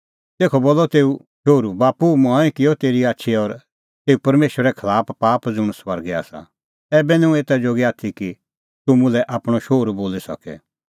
तेखअ बोलअ तेऊ शोहरू बाप्पू मंऐं किअ तेरी आछी और तेऊ परमेशरे खलाफ पाप ज़ुंण स्वर्गै आसा ऐबै निं हुंह एता जोगी आथी कि तूह मुल्है आपणअ शोहरू बोली सके